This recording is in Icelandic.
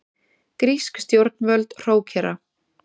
Grísk stjórnvöld hrókera